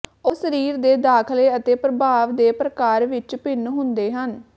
ਉਹ ਸਰੀਰ ਦੇ ਦਾਖਲੇ ਅਤੇ ਪ੍ਰਭਾਵ ਦੇ ਪ੍ਰਕਾਰ ਵਿੱਚ ਭਿੰਨ ਹੁੰਦੇ ਹਨ